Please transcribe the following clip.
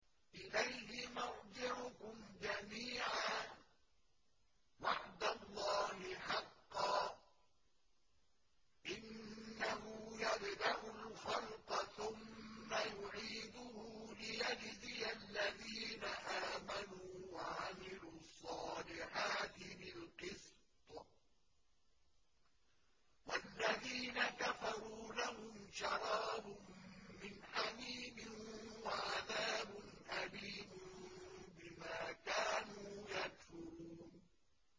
إِلَيْهِ مَرْجِعُكُمْ جَمِيعًا ۖ وَعْدَ اللَّهِ حَقًّا ۚ إِنَّهُ يَبْدَأُ الْخَلْقَ ثُمَّ يُعِيدُهُ لِيَجْزِيَ الَّذِينَ آمَنُوا وَعَمِلُوا الصَّالِحَاتِ بِالْقِسْطِ ۚ وَالَّذِينَ كَفَرُوا لَهُمْ شَرَابٌ مِّنْ حَمِيمٍ وَعَذَابٌ أَلِيمٌ بِمَا كَانُوا يَكْفُرُونَ